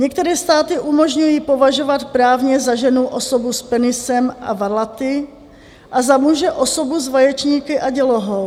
Některé státy umožňují považovat právně za ženu osobu s penisem a varlaty a za muže osobu s vaječníky a dělohou.